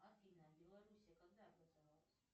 афина белоруссия когда образовалась